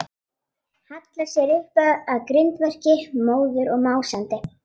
Hallar sér upp að grindverki, móður og másandi.